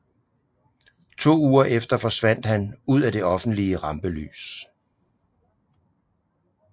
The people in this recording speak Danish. To uger efter forsvandt han ud af det offentlige rampelys